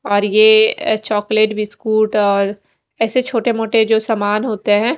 और यह chocolate biscuit और और ऐसे छोटे मोटे जो सामान होते है।